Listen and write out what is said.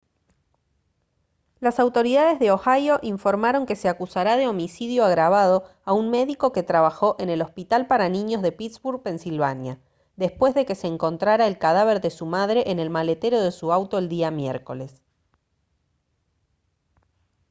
las autoridades de ohio informaron que se acusará de homicidio agravado a un médico que trabajó en el hospital para niños de pittsburgh pensilvania después de que se encontrara el cadáver de su madre en el maletero de su auto el día miércoles